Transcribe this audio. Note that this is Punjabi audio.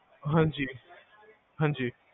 ਹਾਂਜੀ ਹਾਂਜੀ